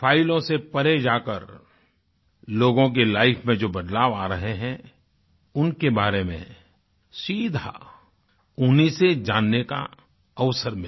फाइलों से परे जाकर लोगों की लाइफ में जो बदलाव आ रहे हैं उनके बारे में सीधा उन्हीं से जानने का अवसर मिला